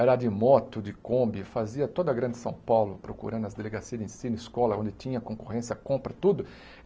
Era de moto, de kombi, fazia toda a grande São Paulo procurando as delegacia, de ensino, escola, onde tinha concorrência, compra, tudo.